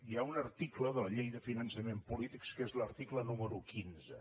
hi ha un article de la llei de finançament polític que és l’article número quinze